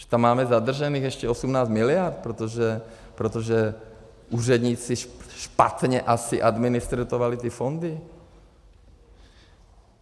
Že tam máme zadržených ještě 18 miliard, protože úředníci špatně asi administrovali ty fondy?